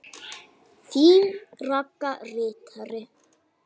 Þín Ragga ritari.